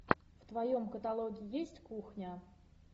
в твоем каталоге есть кухня